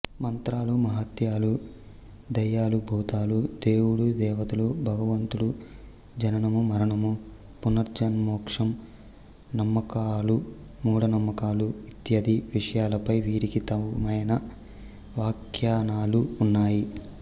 మంత్రాలుమహత్యాలు దయ్యాలుభూతాలు దేవుడుదేవతలుభగవంతుడు జననముమరణము పునర్జన్మమోక్షం నమ్మకాలుమూఢనమ్మకాలు ఇత్యాది విషయాలపై వీరికి తమవైన వ్యాఖ్యానాలు ఉన్నాయి